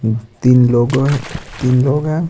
तीन लोगों ह तीन लोग हैं।